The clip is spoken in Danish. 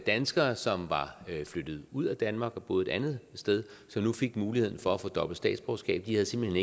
danskere som var flyttet ud af danmark og boede et andet sted som nu fik muligheden for at få dobbelt statsborgerskab de havde simpelt